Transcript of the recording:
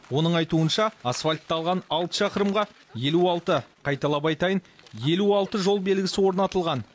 оның айтуынша асфальтталған алты шақырымға елу алты қайталап айтайын елу алты жол белгісі орнатылған